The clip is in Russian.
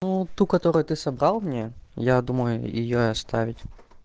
ну ту которую ты собрал мне я думаю и я оставить